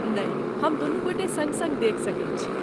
नहि, हम दुनूगोटे सङ्ग सङ्ग देखि सकैत छी।